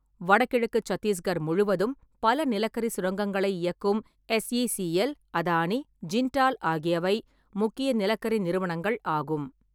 வடகிழக்கு சத்தீஸ்கர் முழுவதும் பல நிலக்கரி சுரங்கங்களை இயக்கும் எஸ்இசிஎல், அதானி, ஜிண்டால் ஆகியவை முக்கிய நிலக்கரி நிறுவனங்கள் ஆகும்.